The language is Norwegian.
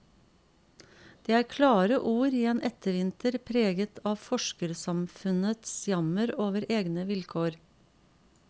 Det er klare ord i en ettervinter preget av forskersamfunnts jammer over egne vilkår.